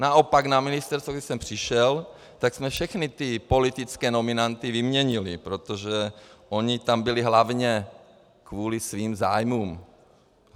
Naopak na ministerstvu, když jsem přišel, tak jsme všechny ty politické nominanty vyměnili, protože oni tam byli hlavně kvůli svým zájmům.